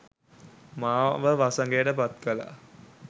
මාව වසඟයට පත් කළා.